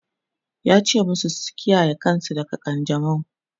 yace masu su kiyaye kansu daga kanjamau!